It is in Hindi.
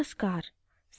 नमस्कार !